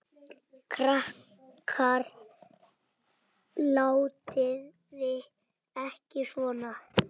Krakkar látiði ekki svona!